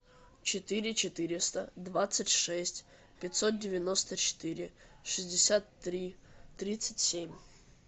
четыре четыреста двадцать шесть пятьсот девяносто четыре шестьдесят три тридцать семь